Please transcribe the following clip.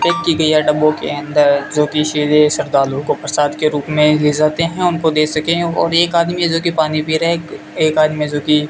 डबों के अंदर जो किसी से श्रद्धालुओं को प्रसाद के रूप में ले जाते हैं उनको दे सके और एक आदमी है जोकि पानी पी रहा है एक आदमी जोकि --